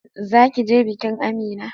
Zaki je bikin Amina?